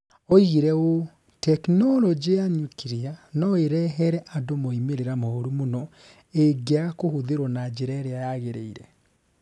Oigire ũũ: "Tekinoronjĩ ya nyuklia no ĩrehere andũ moimĩrĩro moru mũno ĩngĩaga kũhũthĩrũo na njĩra ĩria yagĩrĩire".